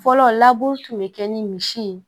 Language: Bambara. Fɔlɔ laburu tun bɛ kɛ ni misi ye